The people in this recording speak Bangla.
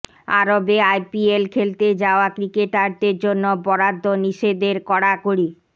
আরবে আইপিএল খেলতে যাওয়া ক্রিকেটারদের জন্য বরাদ্দ নিষেধের কড়াকড়ি